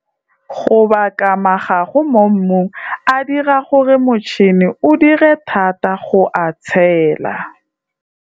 Go baka magago mo mmung a a dirang gore motšhene o dire thata go a tshela.